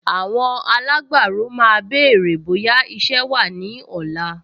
Àwọn alágbàro máa béèrè bóyá iṣẹ́ wà ní ọ̀la